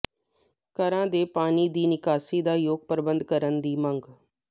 ਘਰਾਂ ਦੇ ਪਾਣੀ ਦੀ ਨਿਕਾਸੀ ਦਾ ਯੋਗ ਪ੍ਰਬੰਧ ਕਰਨ ਦੀ ਮੰਗ